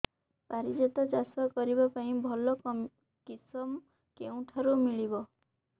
ପାରିଜାତ ଚାଷ କରିବା ପାଇଁ ଭଲ କିଶମ କେଉଁଠାରୁ ମିଳିବ